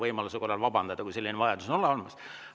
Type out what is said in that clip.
Mina saaks vabandada, kui selline vajadus oleks.